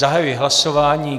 Zahajuji hlasování.